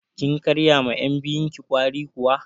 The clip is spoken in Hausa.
Kin karya ma yan' biyun ki ƙwari kuwa?